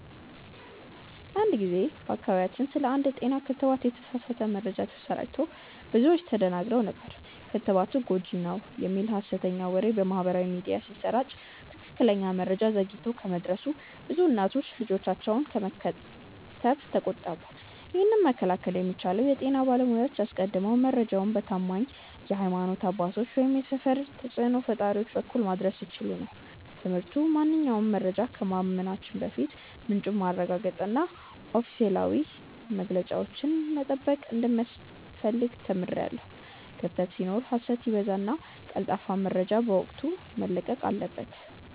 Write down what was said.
አንድ ጊዜ በአካባቢያችን ስለ አንድ የጤና ክትባት የተሳሳተ መረጃ ተሰራጭቶ ብዙዎች ተደናግረው ነበር። ክትባቱ ጎጂ ነው" የሚል ሀሰተኛ ወሬ በማህበራዊ ሚዲያ ሲሰራጭ ትክክለኛ መረጃ ዘግይቶ በመድረሱ ብዙ እናቶች ልጆቻቸውን ከመከተብ ተቆጠቡ። ይህንን መከላከል የሚቻለው የጤና ባለሙያዎች አስቀድመው መረጃውን በታማኝ የሀይማኖት አባቶች ወይም የሰፈር ተጽእኖ ፈጣሪዎች በኩል ማድረስ ሲችሉ ነበር። ትምህርቱ ማንኛውንም መረጃ ከማመናችን በፊት ምንጩን ማረጋገጥና ኦፊሴላዊ መግለጫዎችን መጠበቅ እንደሚያስፈልግ ተምሬያለሁ። ክፍተት ሲኖር ሀሰት ይበዛልና ቀልጣፋ መረጃ በወቅቱ መለቀቅ አለበት።